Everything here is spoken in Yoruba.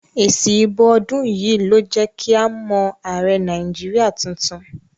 Èsì ìbò ọdún yìí ló jẹ́ kí a mọ̀ ààrẹ Nàìjíríà tuntun.